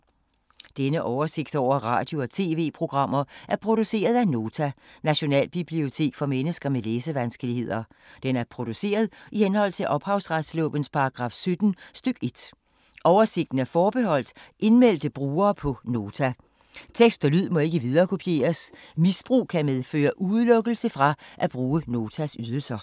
Denne oversigt over radio og TV-programmer er produceret af Nota, Nationalbibliotek for mennesker med læsevanskeligheder. Den er produceret i henhold til ophavsretslovens paragraf 17 stk. 1. Oversigten er forbeholdt indmeldte brugere på Nota. Tekst og lyd må ikke viderekopieres. Misbrug kan medføre udelukkelse fra at bruge Notas ydelser.